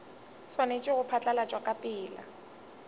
swanetše go phatlalatšwa ka pela